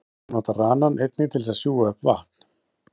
Fílar nota ranann einnig til þess að sjúga upp vatn.